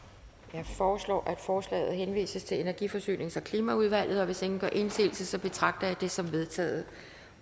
jeg foreslår at forslaget henvises til energi forsynings og klimaudvalget hvis ingen gør indsigelse betragter jeg det som vedtaget